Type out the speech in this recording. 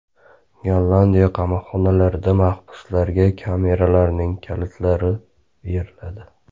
Gollandiya qamoqxonalarida mahbuslarga kameralarning kalitlari beriladi.